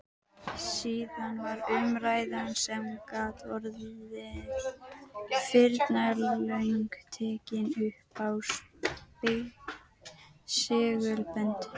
Síðan var umræðan, sem gat orðið firnalöng, tekin uppá segulbönd.